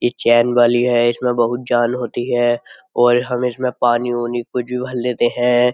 ये चैन वाली है इसमें बहुत जान होती है और हम इसमें पानी वानी कुछ भी भर लेते हैं।